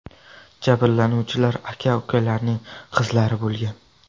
Jabrlanuvchilar aka-ukalarning qizlari bo‘lgan.